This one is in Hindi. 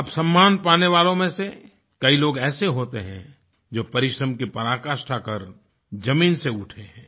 अब सम्मान पाने वालों में से कई लोग ऐसे होते हैं जो परिश्रम की पराकाष्ठा कर ज़मीन से उठे हैं